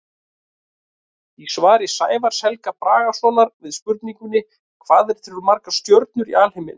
Í svari Sævars Helga Bragasonar við spurningunni Hvað eru til margar stjörnur í alheiminum?